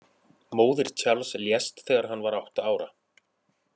Móðir Charles lést þegar hann var átta ára.